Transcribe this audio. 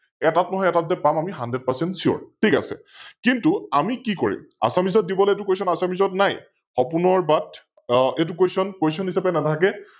এটাত নহয় এটাত যে পাম আমি HundredPercentSure ঠিক আছে । কিন্তু আমি কি কৰিম? Assamese ত দিব নে এইতো Question, Assamese ত নাই, সপোনৰ বাট, এইতো Question, Question হিচাপে নাথাকে